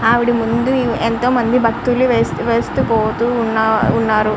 ఆవిడ ముందు ఎంతో మంది భక్తులు వేస్ వేస్తూ పోతూ ఉన్న ఉన్నారు.